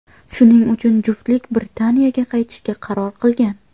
Shuning uchun juftlik Britaniyaga qaytishga qaror qilgan.